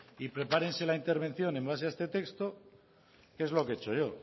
y prepárense la intervención en base a este texto que es lo que he hecho yo